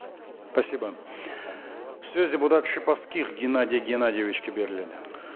спасибо сөз депутат шиповских геннадий геннадьевичке беріледі